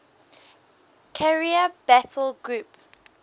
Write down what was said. carrier battle group